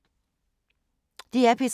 DR P3